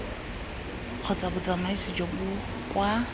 kgotsa botsamaisi jo bo kwa